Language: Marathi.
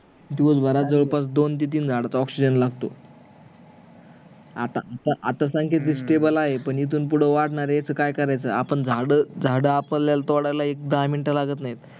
दिवसभरात जवळपास दोन ते तीन झाडांचा oxygen लागतो आता आता सांग किती STABLE आहे पण इथून पुढ वाढणार आहे याच काय करायचं आपण झाड झाड आपल्याला एक दहा मिनिट लागत नाही